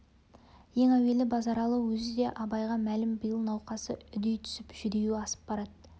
ең әуелі базаралы өзі де абайға мәлім биыл науқасы үдей түсіп жүдеуі асып барады